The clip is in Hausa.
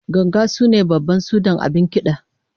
Ganga shine babban sudan abin kida